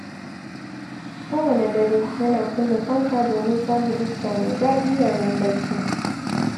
Kowanne dare, yana kunna fanka domin samun iska mai daɗi yayin barci.